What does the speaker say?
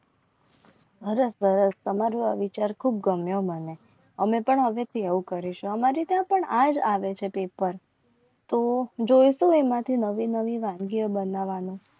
હર હર તમારું આ વિચાર ખૂબ ગમ્યો મને અમે પણ અગત્યની આવું કરીશું. અમારે ત્યાં પણ આજ આવે છે પેપર તો જોઈતું હોય એમાંથી નવી નવી વાનગીઓ બનાવવાનું